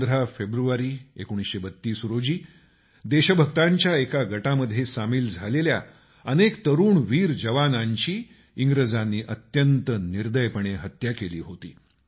15 फेब्रुवारी 1932 रोजी देशभक्तांच्या एका गटामध्ये सामिल झालेल्या अनेक तरूण वीर जवानांची इंग्रजांनी अत्यंत निर्दयीपणे हत्या केली होती